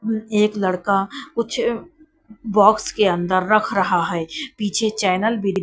एक लड़का कुछ बॉक्स के अंदर रख रहा है पीछे चैनल भी--